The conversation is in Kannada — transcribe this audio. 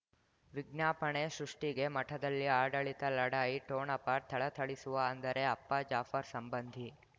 ವಿಜ್ಞಾಪನೆ ಸೃಷ್ಟಿಗೆ ಮಠದಲ್ಲಿ ಆಡಳಿತ ಲಢಾಯಿ ಠೊಣಪ ಥಳಥಳಿಸುವ ಅಂದರೆ ಅಪ್ಪ ಜಾಫರ್ ಸಂಬಂಧಿ